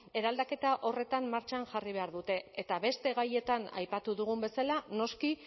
eraldaketa horretan martxan jarri behar dute eta beste gaietan aipatu dugun bezala noski